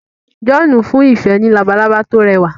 John n fún ìfẹ ní Labalábá to rẹwà